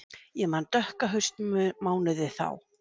Ég man dökka haustmánuði þá.